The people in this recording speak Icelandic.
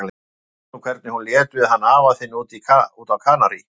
Þú manst nú hvernig hún lét við hann afa þinn úti á Kanarí.